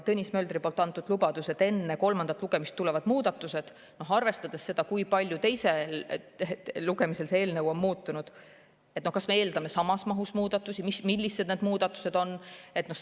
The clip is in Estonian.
Tõnis Möldri antud lubadus, et enne kolmandat lugemist tulevad muudatused – arvestades seda, kui palju teisel lugemisel see eelnõu on muutunud, kas me eeldame nüüd samas mahus muudatusi ja millised need muudatused on?